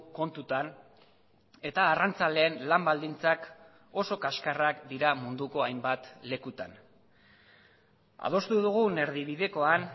kontutan eta arrantzaleen lan baldintzak oso kaskarrak dira munduko hainbat lekutan adostu dugun erdibidekoan